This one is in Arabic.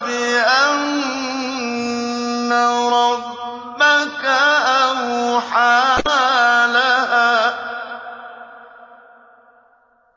بِأَنَّ رَبَّكَ أَوْحَىٰ لَهَا